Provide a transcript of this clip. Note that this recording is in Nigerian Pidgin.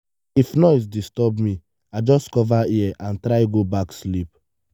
if noise disturb me i just cover ear and try go back sleep.